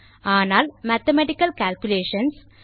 ஆனால் mathematical calculations